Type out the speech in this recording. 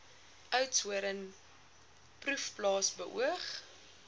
oudtshoorn proefplaas beoog